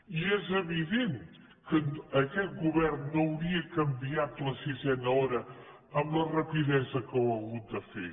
i és evident que aquest govern no hauria canviat la sisena hora amb la rapidesa que ho ha hagut de fer